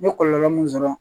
N ye kɔlɔlɔ mun sɔrɔ